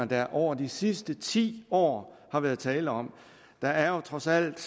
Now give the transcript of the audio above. der over de sidste ti år har været tale om der er jo trods alt